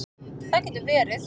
Það getur verið